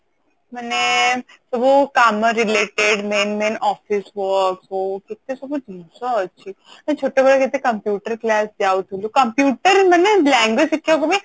ମାନେ ସବୁ କାମ related main main office work ହଉ କେତେ ସବୁ ଜିନିଷ ଅଛି ଆମେ ଛୋଟ ବେଳେ କେତେ computer class ଯାଉଥୁଲୁ computer ମାନେ language ଶିଖିବାକୁ ବି